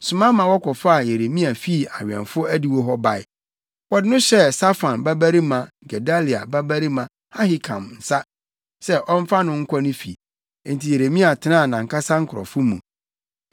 soma ma wɔkɔfaa Yeremia fii awɛmfo adiwo hɔ bae. Wɔde no hyɛɛ Safan babarima Gedalia babarima Ahikam nsa sɛ ɔmfa no nkɔ ne fi. Enti Yeremia tenaa nʼankasa nkurɔfo mu.